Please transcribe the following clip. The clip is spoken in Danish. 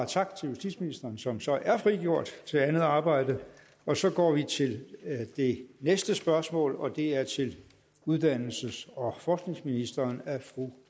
tak til justitsministeren som så er frigjort til andet arbejde så går vi til det næste spørgsmål og det er til uddannelses og forskningsministeren af fru